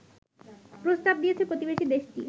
প্রস্তাব দিয়েছে প্রতিবেশী দেশটি